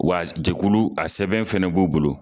Wa jɛkulu a sɛbɛn fana b'u bolo